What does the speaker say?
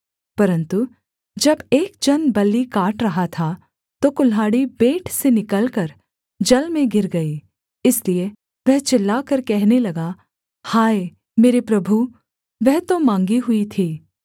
परन्तु जब एक जन बल्ली काट रहा था तो कुल्हाड़ी बेंट से निकलकर जल में गिर गई इसलिए वह चिल्लाकर कहने लगा हाय मेरे प्रभु वह तो माँगी हुई थी